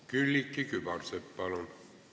Külliki Kübarsepp, palun!